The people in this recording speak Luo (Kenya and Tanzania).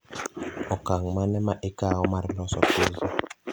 okang mane ma ikaw mar loso pizza